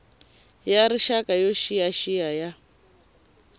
ya rixaka yo xiyaxiya ya